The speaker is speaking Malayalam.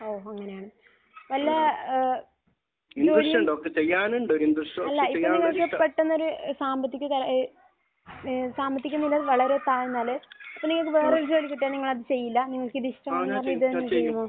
ഓഹ്. അങ്ങനെയാണ്. വല്ല ഏഹ് ജോലി അല്ല. ഇപ്പോൾ പെട്ടെന്നൊരു സാമ്പത്തിക ഏഹ് ഏഹ് സാമ്പത്തിക നില വളരെ താഴ്ന്നാൽ അപ്പോൾ ചോദിക്കട്ടെ. നിങ്ങൾ അത് ചെയ്യില്ല. നിങ്ങൾക്ക് അത് ഇഷ്ടമല്ല